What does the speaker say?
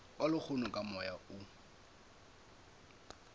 wa lehono ka moya o